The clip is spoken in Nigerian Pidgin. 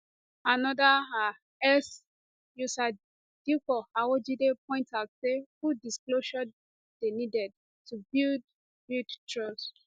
anoda um x user dipo awojide point out say full disclosure dey needed to build build trust